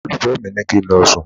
Olólùfẹ́ mi ní kí n lọ sùn.